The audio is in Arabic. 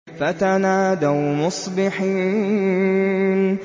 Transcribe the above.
فَتَنَادَوْا مُصْبِحِينَ